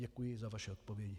Děkuji za vaši odpověď.